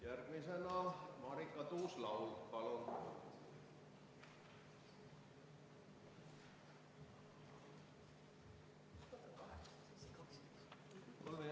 Järgmisena Marika Tuus-Laul, palun!